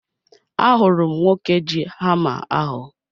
Ahụrụ m nwoke ji hama ahu